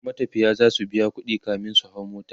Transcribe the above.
matafiya zasu biya ƙuɗi kamin su hau mota